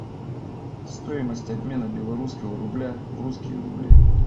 стоимость обмена белорусского рубля в русские рубли